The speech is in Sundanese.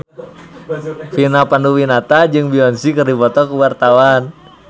Vina Panduwinata jeung Beyonce keur dipoto ku wartawan